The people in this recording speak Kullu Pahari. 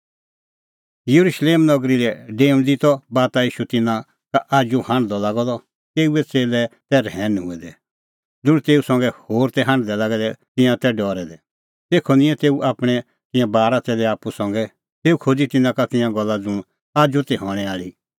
येरुशलेम नगरी लै डेऊंदी त बाता ईशू तिन्नां का आजू हांढदअ लागअ द तेऊए च़ेल्लै तै रहैन हूऐ दै ज़ुंण तेऊ संघै होर तै हांढदै लागै दै तिंयां तै डरै दै तेखअ निंयैं तेऊ आपणैं तिंयां बारा च़ेल्लै आप्पू संघै तेऊ खोज़ी तिन्नां का तिंयां गल्ला ज़ुंण आजू ती हणैं आल़ी कि